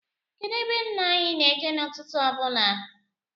Kedụ ebe nna anyị na-eje n' ụtụtụ ọbụla?